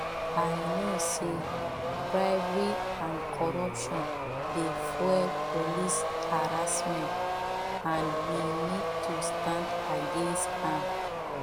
i know say bribery and courruption dey fuel police harassment and we need to stand against am